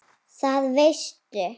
Það veistu.